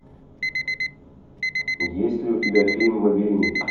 есть ли у тебя фильм мобильник